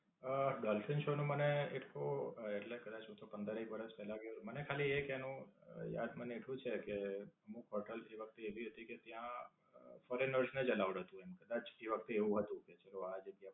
અમ Dolphin Show નું મને એટલું અમ એટલે કદાચ હું તો પંદરેક વરસ પેલા ગયો. મને ખાલી એક એનું યાદ મને એટલું છે કે, અમુક હોટેલ જેવા તો એવી હતી કે ત્યાં foreigners ને જ aloud હતું એમ કદાચ એ વખતે એવું જ હતું કે, જેઓ આ જગ્યા